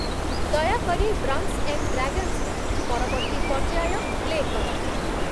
ଦୟାକରି 'drunks and ଡ୍ରାଗନ୍‌ସ'ର ପରବର୍ତ୍ତୀ ପର୍ଯ୍ୟାୟ ପ୍ଲେ କର